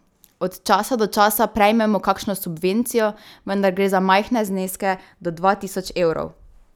Od časa do časa prejmemo kakšno subvencijo, vendar gre za majhne zneske do dva tisoč evrov.